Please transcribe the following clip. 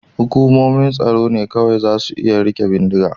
Hukumomin tsaro ne kawai za su iya rike bindiga.